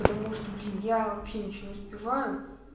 потому что блин я вообще ничего не успеваю